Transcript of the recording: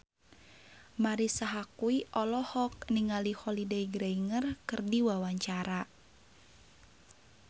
Marisa Haque olohok ningali Holliday Grainger keur diwawancara